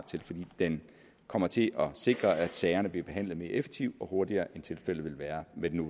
til fordi den kommer til at sikre at sagerne bliver behandlet mere effektivt og hurtigere end tilfældet ville være med den